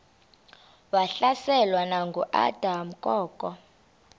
wahlaselwa nanguadam kok